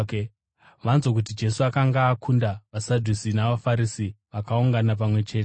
Vanzwa kuti Jesu akanga akunda vaSadhusi, vaFarisi vakaungana pamwe chete.